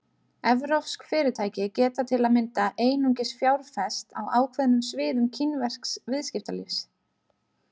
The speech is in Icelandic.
Evrópsk fyrirtæki geta til að mynda einungis fjárfest á ákveðnum sviðum kínversks viðskiptalífs.